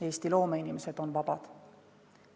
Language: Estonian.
Eesti loomeinimesed on vabad.